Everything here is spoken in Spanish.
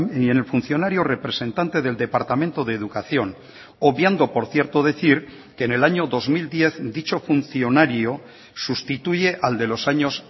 y en el funcionario representante del departamento de educación obviando por cierto decir que en el año dos mil diez dicho funcionario sustituye al de los años